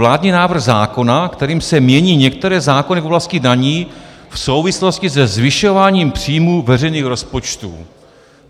Vládní návrh zákona, kterým se mění některé zákony v oblasti daní v souvislosti se zvyšováním příjmů veřejných rozpočtů.